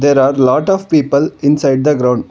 there are lot of people inside the ground.